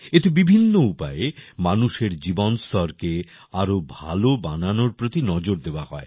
এতে বিভিন্ন উপায়ে মানুষের জীবন স্তরকে আরও ভালো বানানোর প্রতি নজর দেওয়া হয়